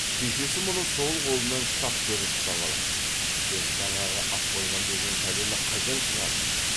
шешесі мұны сол қолынан шап беріп ұстап алып сен жаңағы ат қойған деген пәлені қайдан шығардың